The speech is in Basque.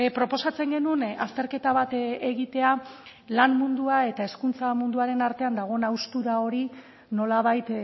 proposatzen genuen azterketa bat egitea lan mundua eta hezkuntza munduaren artean dagoen haustura hori nolabait